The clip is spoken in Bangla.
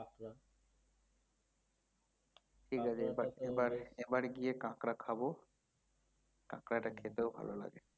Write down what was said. ঠিকআছে এবার এবার এবার গিয়ে কাঁকড়া খাবো কাঁকড়া টা খেতেও ভালো লাগে